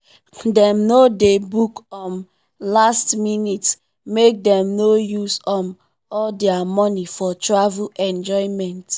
dem no dey book um last-minute make dem no use um all their money for travel enjoyment.